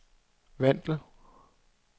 Vandel